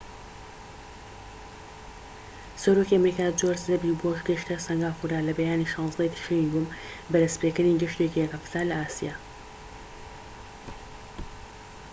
سەرۆکی ئەمریکا جۆرج دەبلیو بۆش گەیشتە سەنگافورە لە بەیانی 16ی تشرینی دووەم بە دەستپێکردنی گەشتێکی یەک هەفتە لە ئاسیا